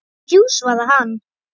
Jú svaraði hann.